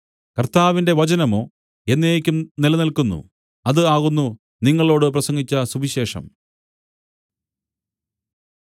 കർത്താവിന്റെ വചനമോ എന്നേക്കും നിലനില്ക്കുന്നു അത് ആകുന്നു നിങ്ങളോടു പ്രസംഗിച്ച സുവിശേഷം